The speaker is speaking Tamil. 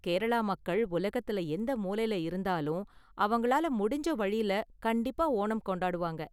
கேரளா மக்கள் உலகத்துல எந்த மூலைல இருந்தாலும் அவங்களால முடிஞ்ச வழில கண்டிப்பா ஓணம் கொண்டாடுவாங்க.